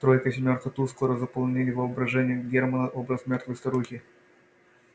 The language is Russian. тройка семёрка туз скоро заслонили в воображении германна образ мёртвой старухи